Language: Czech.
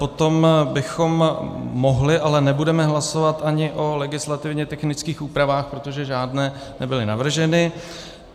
Potom bychom mohli, ale nebudeme hlasovat ani o legislativně technických úpravách, protože žádné nebyly navrženy.